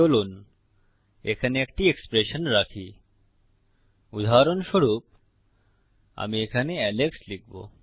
চলুন এখানে একটি এক্সপ্রেশন রাখি উদাহরণস্বরূপ আমি এখানে এলেক্স লিখব